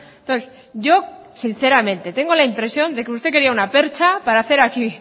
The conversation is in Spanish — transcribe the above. entonces yo sinceramente tengo la impresión de que usted quería una percha para hacer aquí